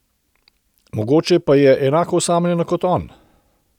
Mogoče pa je enako osamljena kot on.